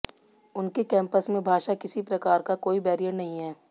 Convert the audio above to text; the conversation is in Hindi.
उनके कैंपस में भाषा किसी प्रकार का कोई बैरियर नहीं है